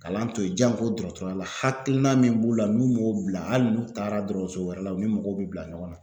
Kalan to ye janko dɔrɔtɔrɔya la hakilina min b'u la n'u m'o bila hali n'u taara dɔrɔɔso wɛrɛ la u ni mɔgɔw be bila ɲɔgɔn na.